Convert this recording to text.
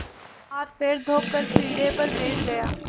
हाथपैर धोकर पीढ़े पर बैठ गया